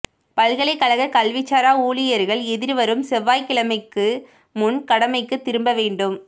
பல்கலைக்கழக கல்விசாரா ஊழியர்கள் எதிர்வரும் செவ்வாய்க்கிழமைக்கு முன் கடமைக்குத் திரும்ப வேண்டும்